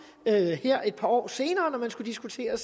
her et par år senere når man skal diskutere